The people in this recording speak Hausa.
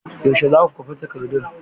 Yaushe za ku kwafi takardun?